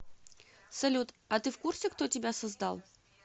салют а ты в курсе кто тебя создал